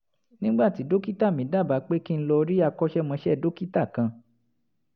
nígbà tí dókítà mi dábàá pé kí n lọ rí akọ́ṣẹ́mọṣẹ́ dókítà kan